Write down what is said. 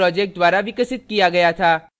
* bash shell gnu project द्वारा विकसित किया गया था